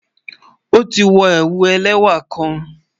O ti wọ̀ ẹwù ẹlẹwa kàn